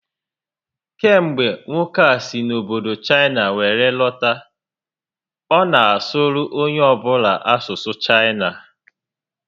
Kemgbe nwoke a si obodo Chaịna were lọta, ọ na asụrụ onye ọ bụla asụsụ Chaịna